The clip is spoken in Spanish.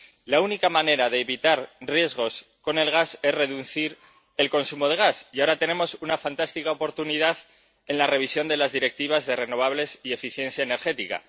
La única manera de evitar riesgos con el gas es reducir el consumo de gas, y ahora tenemos una fantástica oportunidad con la revisión de las Directivas sobre energías renovables y eficiencia energética.